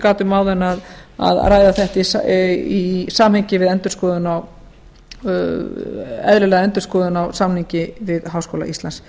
gat um áðan að ræða þetta í samhengi við eðlilega endurskoðun á samningi við háskóla íslands